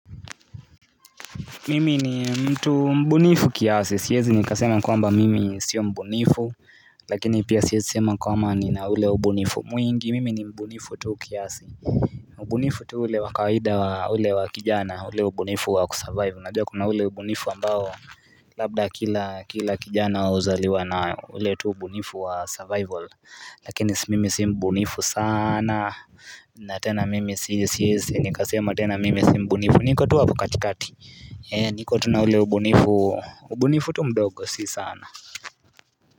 Mimi ni mtu mbunifu kiasi, siezi nikasema kwamba mimi sio mbunifu. Lakini pia siezi sema kwamba ni na ule ubunifu mwingi, mimi ni mbunifu tu kiasi. Ubunifu tu ule wakawida wa ule wa kijana, ule ubunifu wa kusurvive Najua kuna ule ubunifu ambao, labda kila kijana uzaliwa na ule tu ubunifu wa survival. Lakini mimi si mbunifu sana, natena mimi siezi nikasema tena mimi si mbunifu niko tu hapo katikati. Niko tu na ule ubunifu ubunifutu mdogo si sana.